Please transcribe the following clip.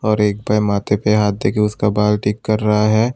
और एक भाई माथे पे हाथ देके उसका बाल ठीक कर रहा है।